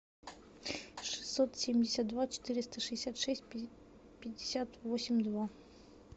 шестьсот семьдесят два четыреста шестьдесят шесть пятьдесят восемь два